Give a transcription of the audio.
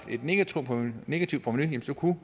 negativt provenu så kunne